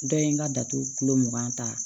Dɔ ye n ka datugu kulo mugan ta